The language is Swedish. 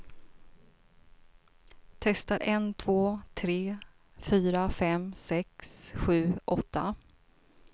Testar en två tre fyra fem sex sju åtta.